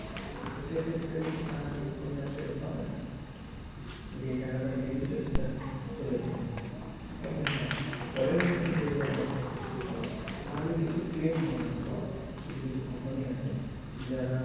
তো সেক্ষেত্রে কিন্তু টাকা কিন্তু তুমি আর ফেরত পাবে না যেই টাকাটা দিয়ে দিয়েছো সেটা চলেই গেলো তবে হ্যাঁ পরের বছর যদি আবার করতে শুরু করো তাহলে কিছু claim bonus পাওয়া যায় কিছু কিছু company আছে যারা